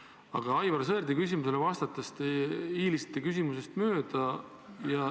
Aga Aivar Sõerdi küsimusele vastates te hiilisite küsimusest mööda.